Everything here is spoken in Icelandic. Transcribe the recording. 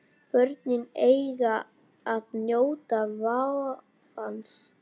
Börnin eiga að njóta vafans.